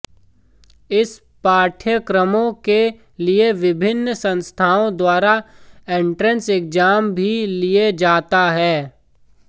इन पाठ्यक्रमों के लिए विभिन्न संस्थानों द्वारा एंट्रेस एग्जाम भी लिया जाता है